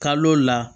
Kalo la